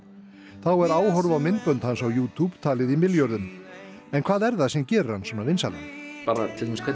þá er áhorf á myndbönd hans á YouTube talið í milljörðum en hvað er það sem gerir hann svona vinsælan bara hvernig